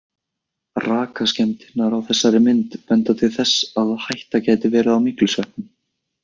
Rakaskemmdirnar á þessari mynd benda til þess að hætta gæti verið á myglusveppum.